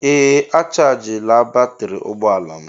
Ee a chajila batrị ụgbọ ala m.